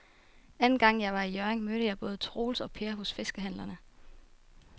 Anden gang jeg var i Hjørring, mødte jeg både Troels og Per hos fiskehandlerne.